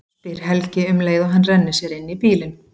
spyr Helgi um leið og hann rennir sér inn í bílinn.